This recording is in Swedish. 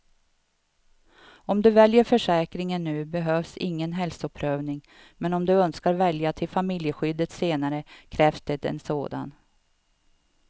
Om du väljer försäkringen nu behövs ingen hälsoprövning, men om du önskar välja till familjeskyddet senare krävs det en sådan.